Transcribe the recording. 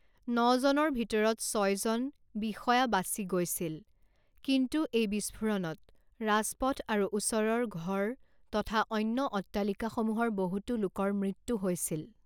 নজনৰ ভিতৰত ছয় জন বিষয়া বাচি গৈছিল, কিন্তু এই বিস্ফোৰণত ৰাজপথ আৰু ওচৰৰ ঘৰ তথা অন্য অট্টালিকাসমূহৰ বহুতো লোকৰ মৃত্যু হৈছিল।